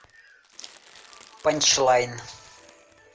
панчлайн